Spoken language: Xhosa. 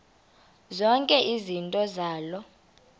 zonke izinto zaloo